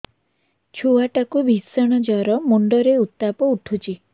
ଛୁଆ ଟା କୁ ଭିଷଣ ଜର ମୁଣ୍ଡ ରେ ଉତ୍ତାପ ଉଠୁଛି